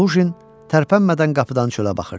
Lujin tərpənmədən qapıdan çölə baxırdı.